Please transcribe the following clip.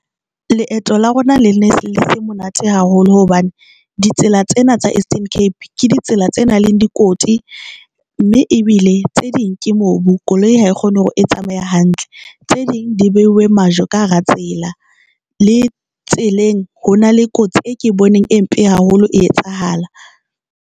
Leeto la rona le ne le se monate haholo hobane ditsela tsena tsa Eastern Cape ke ditsela tse nang le dikoti, mme ebile tse ding ke mobu koloi ha e kgone hore e tsamaya hantle, tse ding di beuwe majwe ka hara tsela. Le tseleng ho na le kotsi e ke boneng e mpe haholo e etsahala.